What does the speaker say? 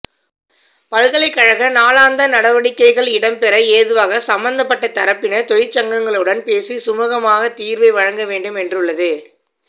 பல்கலைக்கழக நாளாந்த நடவடிக்கைகள் இடம் பெற ஏதுவாக சம்மந்தப்பட்ட தரப்பினர் தொழிற் சங்கங்களுடன் பேசி சுமுகமாகத் தீர்வை வழங்கவேண்டும் என்றுள்ளது